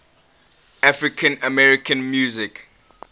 african american music